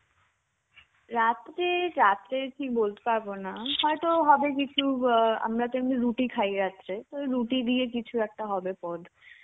রাতের রাতের কি বলতে পারব না. হয়তো হবে কিছু অ্যাঁ আমরা তো এমনি রুটি খাই রাত্রে. তো রুটি দিয়ে কিছু একটা হবে পদ.